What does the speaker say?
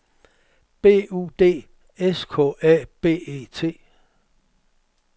B U D S K A B E T